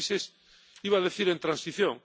Son países —iba a decir— en transición.